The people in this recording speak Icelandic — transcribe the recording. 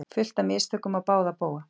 Fullt af mistökum á báða bóga